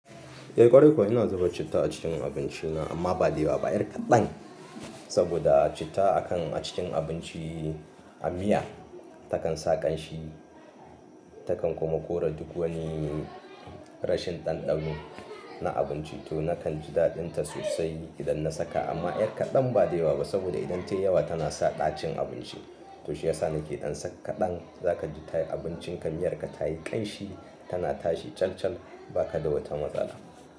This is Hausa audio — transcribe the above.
Eh ƙwarai kuwa ina zuba citta a cikin abinci na amma ba da yawa ba. 'Yar kaɗan saboda citta a kan a cikin abinci a miya takan sa ƙanshi takan kuma kore duk wani rashin ɗanɗano na abinci. To nakan ji daɗin ta sosai idan na saka amma 'yar kaɗan ba da yawa ba saboda idan tayi yawa tana sa ɗacin abinci. To shi yasa nake ɗan saka kaɗan zaka ji abincin ka miyar ka tayi ƙanshi tana tashi calcal ba ka da wata matsala.